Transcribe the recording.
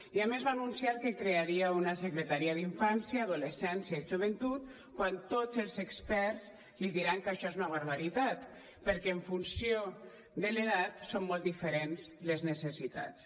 i a més va anunciar que crearia una secretaria d’infància adolescència i joventut quan tots els experts li diran que això és una barbaritat perquè en funció de l’edat són molt diferents les necessitats